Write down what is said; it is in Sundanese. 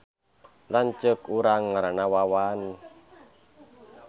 Lanceuk urang ngaranna Wawan